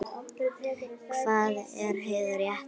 Hvað er hið rétta?